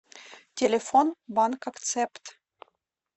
телефон банк акцепт